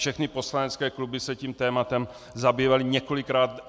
Všechny poslanecké kluby se tím tématem zabývaly několikrát.